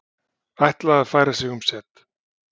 Ætla að færa sig um set